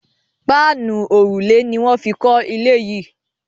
Páànù òrùlé ni wan fí kò ilé yí.